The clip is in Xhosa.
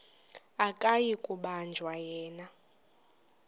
akuyi kubanjwa yena